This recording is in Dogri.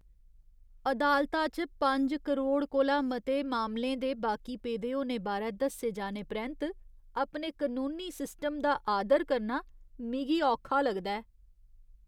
अदालता च पंज करोड़ कोला मते मामलें दे बाकी पेदे होने बारै दस्से जाने परैंत अपने कनूनी सिस्टम दा आदर करना मिगी औखा लगदा ऐ।